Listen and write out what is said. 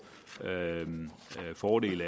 fordel